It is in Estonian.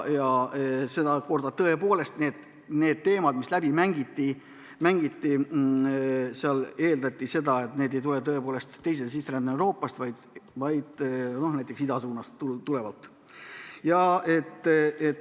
Sedakorda eeldati teemat käsitledes tõepoolest seda, et need inimesed ei tule teisese sisserände käigus Euroopast, vaid näiteks idasuunast.